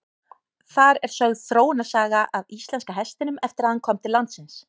Þar er sögð þróunarsaga íslenska hestinum eftir að hann kom til landsins.